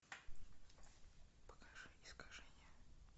покажи искажение